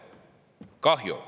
Kahju.